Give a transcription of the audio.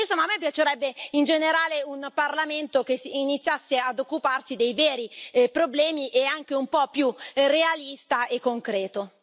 Insomma, a me piacerebbe in generale un Parlamento che iniziasse a occuparsi dei veri problemi e anche un po'più realista e concreto.